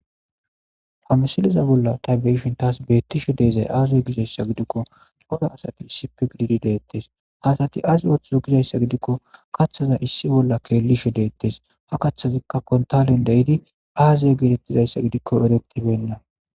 hamsiliza bolla tabeishin taas beettishe deezay aazuy gizayssa gidikko xora asati issipe gididileettes haasati asi ooththuzo gizayssa gidikko kaththaza issi bolla keelishe deettes ha kaththazikka kontalen dehidi aaziya geetettizayssa gidikko eretibenna